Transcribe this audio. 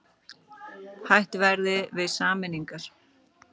Hætt verði við sameiningar